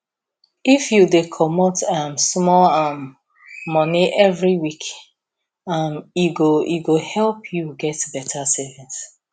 if you dey comot um small um money every week um e go go help you get better savings